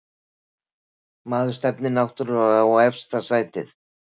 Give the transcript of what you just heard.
Maður stefnir náttúrlega á efsta sætið